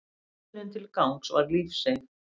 Löngunin til gangs var lífseig.